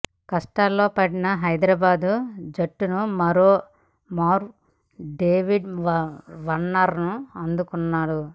కష్టాల్లో పడిన హైదరాబాద్ జట్టును మరో మారు డేవిడ్ వార్నర్ ఆదుకున్నాడు